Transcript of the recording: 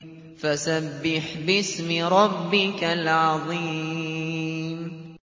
فَسَبِّحْ بِاسْمِ رَبِّكَ الْعَظِيمِ